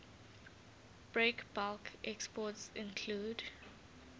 breakbulk exports include